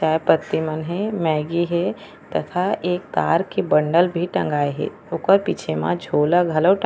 चाय पत्ती मन हे मैगी हे तथा एक तार के बंडल भी टँगाए हे ओकर पीछे म झोला घलो टँगाये --